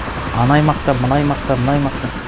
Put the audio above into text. ана аймақта мына аймақта мына аймақта